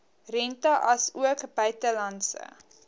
rente asook buitelandse